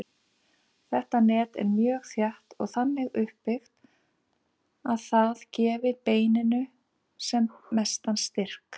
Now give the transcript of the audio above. Þetta net er mjög þétt og þannig uppbyggt að það gefi beininu sem mestan styrk.